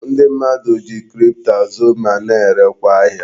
Ndi mmadu ji kripto azụ ma na erekwa ahia